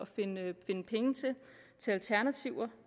finde alternativer